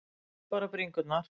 Hirtu bara bringurnar